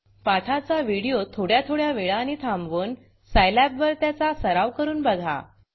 पाठाचा व्हिडिओ थोड्या थोड्या वेळानी थांबवून Scilabसाईलॅब वर त्याचा सराव करून बघा